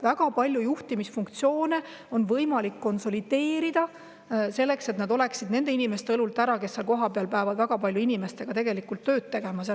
Väga palju juhtimisfunktsioone on võimalik konsolideerida, et nad oleksid nende inimeste õlult ära, kes seal kohapeal inimestega väga palju tööd peavad tegema.